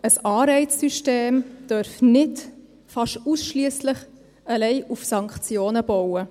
Ein Anreizsystem darf nicht fast ausschliesslich auf Sanktionen bauen.